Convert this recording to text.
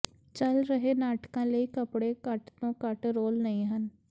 ਚੱਲ ਰਹੇ ਨਾਟਕਾਂ ਲਈ ਕੱਪੜੇ ਘੱਟ ਤੋਂ ਘੱਟ ਰੋਲ ਨਹੀਂ ਹਨ